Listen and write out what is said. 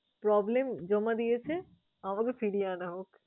problem জমা দিয়েছে, আমাকে ফিরিয়ে আনা হোক।